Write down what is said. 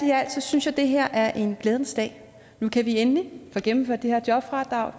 synes jeg at det her er en glædens dag nu kan vi endelig få gennemført det her jobfradrag